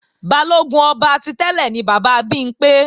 Balógun ọba ti tẹ́lẹ̀ ni bàbá Bimpé